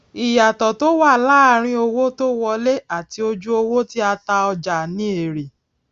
ìyàtò tó wà láàárín owó tó wọlé àti ojú owó tí a ta ọjà ni èrè